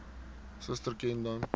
suster ken dan